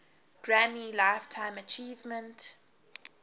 grammy lifetime achievement